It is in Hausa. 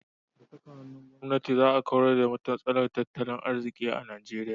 Da saka hannun gwamnati za a kawar da matsalar tattalin arziki a Nigeria.